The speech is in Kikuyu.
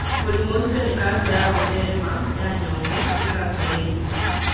Mũrimũ ũcio nĩ kanca ya gũtheerema ya nyongo, tĩ kanca ya ĩni.